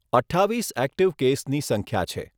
અઠ્ઠાવીસ એક્ટીવ કેસની સંખ્યા છે.